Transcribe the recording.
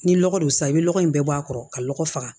Ni lɔgɔ don sa i bɛ lɔgɔ in bɛɛ bɔ a kɔrɔ ka lɔgɔ faga